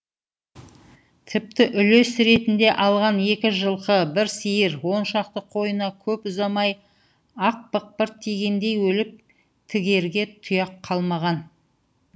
тіпті үлес ретінде алған екі жылқы бір сиыр он шақты қойына көп ұзамай ақ бықпырт тигендей өліп тігерге тұяқ қалмаған